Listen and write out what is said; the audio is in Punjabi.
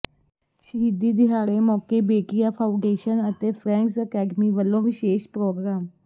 ਸ਼ਹੀਦੀ ਦਿਹਾੜੇ ਮੌਕੇ ਬੇਟੀਆਂ ਫਾਊਾਡੇਸ਼ਨ ਅਤੇ ਫਰੈਂਡਜ਼ ਅਕੈਡਮੀ ਵੱਲੋਂ ਵਿਸ਼ੇਸ਼ ਪ੍ਰੋਗਰਾਮ